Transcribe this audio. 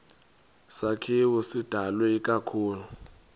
sakhiwo sidalwe ikakhulu